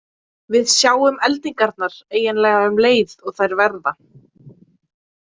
Við sjáum eldingarnar eiginlega um leið og þær verða.